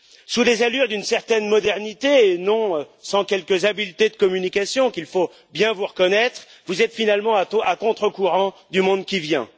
Sous les allures d'une certaine modernité et non sans quelques habiletés de communication qu'il faut bien vous reconnaître, vous êtes finalement à contre courant du monde qui vient.